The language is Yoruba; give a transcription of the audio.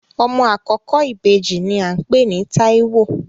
Ọmọ àkọ́kọ́ ìbejì ní à ń pè ní Táíwò